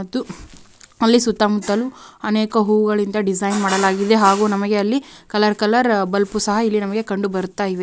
ಅದು ಅಲ್ಲಿ ಸುತ್ತ ಮುತ್ತಲು ಅನೇಕ ಹೂಗಳಿಂದ ಡಿಸೈನ್ ಮಾಡಲಾಗಿದೆ ಹಾಗು ನಮಗೆ ಅಲ್ಲಿ ಕಲರ್ ಕಲರ್ ಬಲ್ಬ್ ಉ ಸಹ ಇಲ್ಲಿ ನಮಗೆ ಕಂಡುಬರ್ತಾಯಿದೆ.